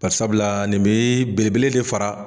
Bari sabula nin be belebele de fara